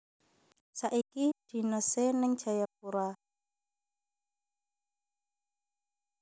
Saiki dinese ning Jayapura